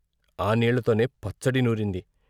ఆ నీళ్ళతోనే పచ్చడి నూరింది.